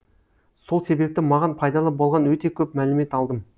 сол себепті маған пайдалы болған өте көп мәлімет алдым